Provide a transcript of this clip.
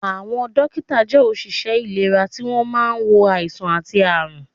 Àwọn dókítà jẹ́ òṣìṣẹ́ ìlera tí wọ́n máa ń wo àìsàn àti àrùn